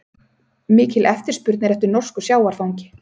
Mikil eftirspurn eftir norsku sjávarfangi